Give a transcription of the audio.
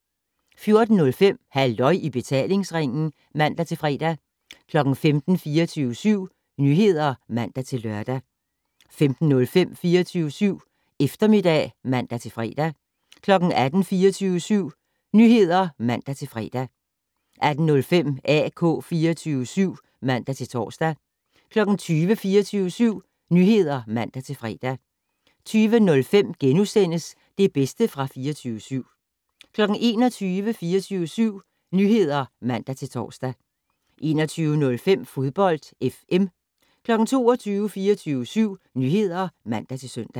14:05: Halløj i betalingsringen (man-fre) 15:00: 24syv Nyheder (man-lør) 15:05: 24syv Eftermiddag (man-fre) 18:00: 24syv Nyheder (man-fre) 18:05: AK 24syv (man-tor) 20:00: 24syv Nyheder (man-fre) 20:05: Det bedste fra 24syv * 21:00: 24syv Nyheder (man-tor) 21:05: Fodbold FM 22:00: 24syv Nyheder (man-søn)